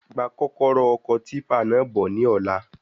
Gba kọ́kọ́rọ́ ọkọ̀ típà náà bọ ní ọ̀la